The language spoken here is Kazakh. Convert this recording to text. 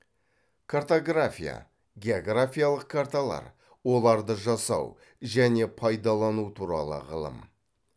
картография географиялық карталар оларды жасау және пайдалану туралы ғылым